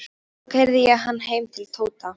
Svo keyrði ég hann heim til Tóta.